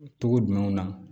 Togo jumɛnw na